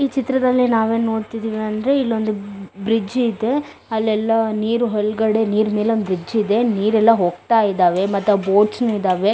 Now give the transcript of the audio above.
ಈ ಚಿತ್ರದಲ್ಲಿ ನಾವು ಏನ್ ನೋಡತ್ತಿದಿವಿ ಅಂದ್ರೆ ಇಲ್ಲೊಂದು ಬ್ರಿಜ್ ಇದೆ ಅಲ್ಲೆಲ್ಲೋ ನೀರ್ ಹೋಲ್ ಗಡೆ ನೀರ್ ಮೇಲೆ ಒಂದು ಬ್ರಿಜ್ ಇದೆ ನೀರ್ ಎಲ್ಲಾ ಹೋಗತ್ತಾ ಇದಾವೆ ಮತ್ತೆ ಬೋಟಸ್ ನು ಇದಾವೆ.